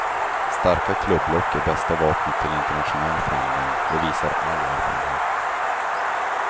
Starka klubblock är bästa vapnet till internationell framgång, det visar all erfarenhet.